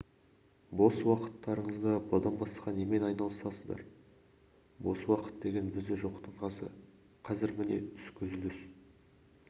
бос уақыттарыңызда бұдан басқа немен айналысасыздар бос уақыт деген бізде жоқтың қасы қазір міне түскі үзіліс